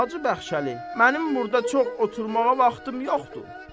Hacı Bəxşəli, mənim burda çox oturmağa vaxtım yoxdur.